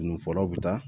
Nu fɔlaw bɛ taa